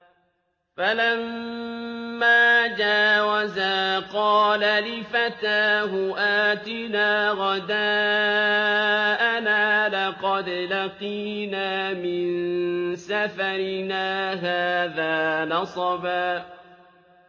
فَلَمَّا جَاوَزَا قَالَ لِفَتَاهُ آتِنَا غَدَاءَنَا لَقَدْ لَقِينَا مِن سَفَرِنَا هَٰذَا نَصَبًا